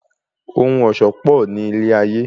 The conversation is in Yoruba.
Ohun ọ̀ṣọ́ pò ní ilé ayé.